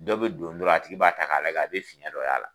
Dɔw bɛ don dɔrɔn a tigi b'a ta k'a lajɛ a bɛ fiyɛn dɔ y'a la.